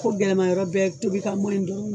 ko gɛlɛmayɔrɔ bɛɛ ye tobika dɔrɔn